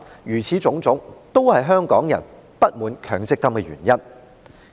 凡此種種，均是香港人不滿強積金計劃的原因。